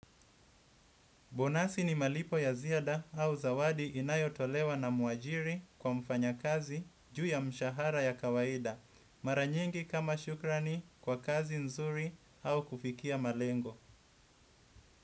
Bonasi ni malipo ya ziada au zawadi inayotolewa na mwajiri kwa mfanyakazi juu ya mshahara ya kawaida. Mara nyingi kama shukrani kwa kazi nzuri au kufikia malengo.